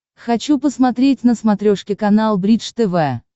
хочу посмотреть на смотрешке канал бридж тв